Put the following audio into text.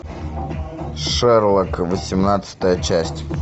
шерлок восемнадцатая часть